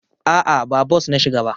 A'a, ba bos na shiga ba.